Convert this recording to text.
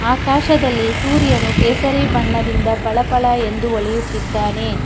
ಆಕಾಶದಲ್ಲಿ ಸೂರ್ಯನ್ನು ಕೇಸರಿ ಬಣ್ಣದಿಂದ ಪಳಾ ಪಳಾ ಎಂದು ಹೊಳೆಯುತ್ತಿದ್ದಾನೆ.